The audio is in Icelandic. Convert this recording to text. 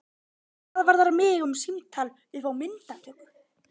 Hvað varðar mig um símtal upp á myndatöku?